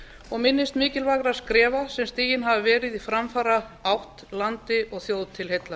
og minnist mikilvægra skrefa sem stigin hafa verið í framfaraátt landi og þjóð til heilla